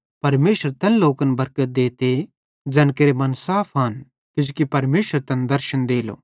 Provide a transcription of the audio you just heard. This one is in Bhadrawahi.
परमेशर तैन लोकन बरकत देते ज़ैन केरे मन साफ आन किजोकि तैन परमेशर दर्शन देलो